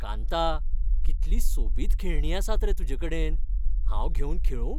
कांता, कितलीं सोबीत खेळणीं आसात रे तुजे कडेन. हांव घेवन खेळूं?